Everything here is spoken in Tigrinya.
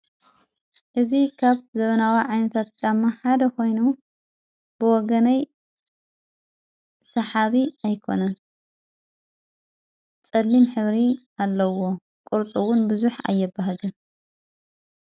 እዚ ከብ ዘበናዋ ዓይንታት ጫማ ሓደ ኾይኑ ብወገነይ ሰሓቢ ኣይኮነን ጸሊም ህብሪ ኣለዎ ቅርፁዉን ብዙኅ ኣየበሃገን።